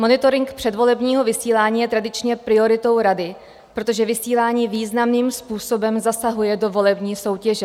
Monitoring předvolebního vysílání je tradičně prioritou rady, protože vysílání významným způsobem zasahuje do volební soutěže.